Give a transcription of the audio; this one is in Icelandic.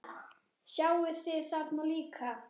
Sjáið þið þarna líka?